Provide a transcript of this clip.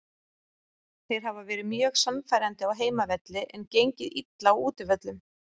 Þeir hafa verið mjög sannfærandi á heimavelli en gengið illa á útivöllum.